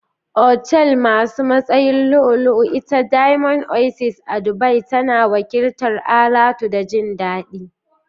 Otal Masu Matsayin lu'u-lu-u, Ita Diamond Oasis a Dubai tana wakiltar alatu da jin dadi.